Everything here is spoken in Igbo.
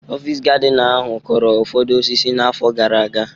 Ọfịs gardina ahu kụrụ ụfọdụ osisi n'afọ gara aga.